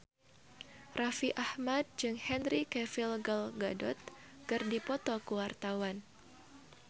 Raffi Ahmad jeung Henry Cavill Gal Gadot keur dipoto ku wartawan